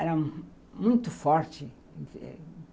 Era muito forte.